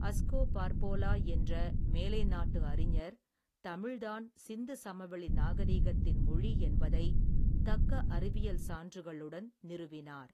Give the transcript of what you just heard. Asko Parpola என்ற மேலை நாட்டு அறிஞர் தமிழ்தான் சிந்து சமவெளி நாகரீகத்தின் மொழி என்பதை தக்க அறிவியல் சான்றுகளுடன் நிருவினார்.